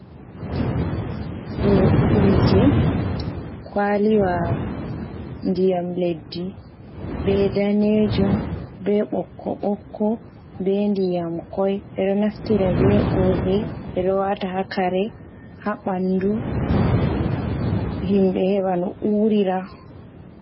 Ɗo urdi kwaliwa ndiyam leddi, be danejum, be ɓokko ɓokko, be ndiyam koi, ɓeɗo naftira be urdi ɓeɗowata hakare ha ɓandu himɓe heɓa no urira.